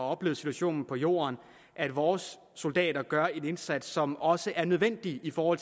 oplevet situationen på jorden at vores soldater gør en indsats som også er nødvendig for